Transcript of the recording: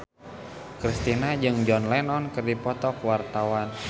Kristina jeung John Lennon keur dipoto ku wartawan